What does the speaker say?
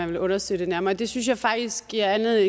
vil undersøge det nærmere det synes jeg faktisk giver